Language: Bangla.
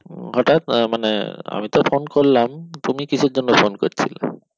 হঠাৎ আহ মানে আমি তো ফোন করলাম তুমি কিসের জন্য ফোন করছিলে?